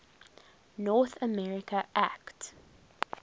north america act